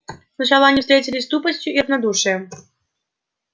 сначала они встретились с тупостью и равнодушием